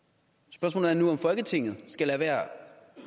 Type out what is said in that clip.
spørgsmålet er nu om folketinget skal lade være